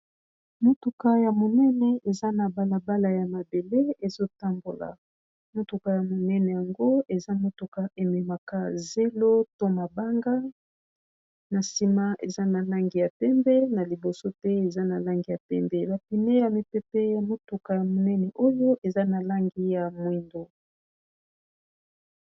Motuka ya monene eza na balabala ya mabele ezo tambola . Motuka ya monene yango eza motuka e memaka zelo to mabanga . Na sima eza na langi ya pembe na liboso pe eza na langi ya pembe, Ba pneux ya mipepe ya motuka ya monene oyo eza na langi ya moyindo .